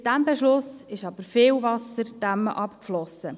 Seit diesem Beschluss ist aber viel Wasser die Emme hinuntergeflossen.